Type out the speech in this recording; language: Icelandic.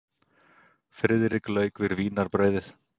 Friðrik lauk við vínarbrauðið.